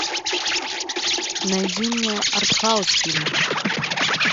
найди мне артхаус фильм